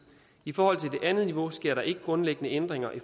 i forhold til det andet niveau sker der ikke grundlæggende ændringer i